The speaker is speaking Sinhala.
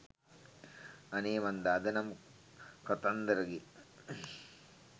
අනේ මන්ද අද නම් කතන්දරගේ